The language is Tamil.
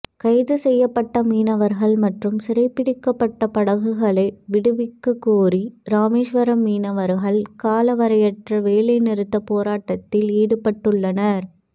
கைது செய்யப்பட்ட மீனவர்கள் மற்றும் சிறைபிடிக்கப்பட்ட படகுகளை விடுவிக்ககோரி ராமேஸ்வரம் மீனவர்கள் காலவரையற்ற வேலைநிறுத்த போராட்டத்தில் ஈடுபட்டுள்ளனர்